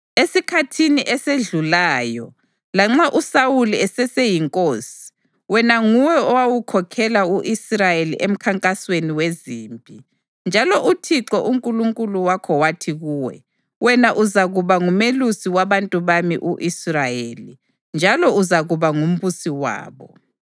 Esikhathini esedlulayo, lanxa uSawuli eseseyinkosi, wena nguwe owawukhokhela u-Israyeli emkhankasweni wezimpi. Njalo uThixo uNkulunkulu wakho wathi kuwe, ‘Wena uzakuba ngumelusi wabantu bami u-Israyeli, njalo uzakuba ngumbusi wabo.’ ”